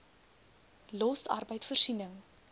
los arbeid voorsiening